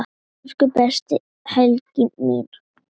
Elsku besta Helena mín.